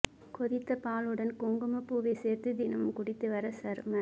கொதித்தப் பாலுடன் குங்குமப் பூவை சேர்த்து தினமு ம் குடித்து வர சரும